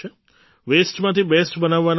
વૅસ્ટમાંથી best બનાવવાનો માર્ગ